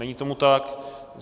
Není tomu tak.